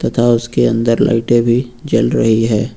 उसके अंदर लाइटे भी जल रही है।